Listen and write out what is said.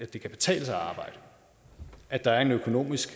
at det kan betale sig at arbejde at der er et økonomisk